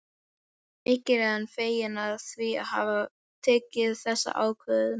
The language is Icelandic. Mikið er hann feginn því að hafa tekið þessa ákvörðun.